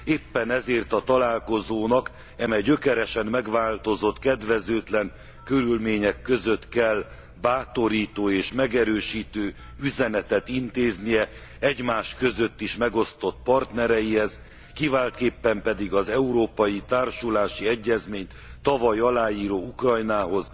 Éppen ezért a találkozónak eme gyökeresen megváltozott, kedvezőtlen körülmények között kell bátorító és megerősítő üzenetet intéznie az egymás között is megosztott partnereinkhez, kiváltképpen pedig az európai társulási egyezményt tavaly aláíró Ukrajnához,